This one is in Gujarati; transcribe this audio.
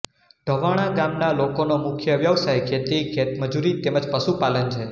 ઢવાણા ગામના લોકોનો મુખ્ય વ્યવસાય ખેતી ખેતમજૂરી તેમ જ પશુપાલન છે